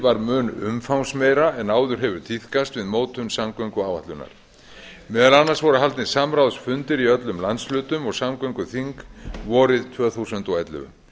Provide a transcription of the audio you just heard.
var mun umfangsmeira en áður hefur tíðkast við mótun samgönguáætlunar meðal annars voru haldnir samráðsfundir í öllum landshlutum og samgönguþingi vorið tvö þúsund og ellefu